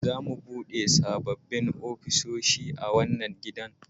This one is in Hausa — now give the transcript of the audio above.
Za su bude sabbin ofisoshi a wannan ginin